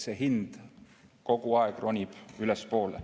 See hind kogu aeg ronib ülespoole.